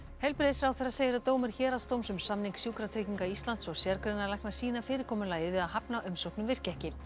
heilbrigðisráðherra segir að dómur héraðsdóms um samning Sjúkratrygginga Íslands og sérgreinalækna sýni að fyrirkomulagið við að hafna umsóknum virki ekki